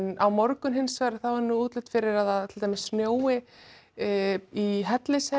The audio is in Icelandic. á morgun er útlit fyrir að að snjói í Hellisheiði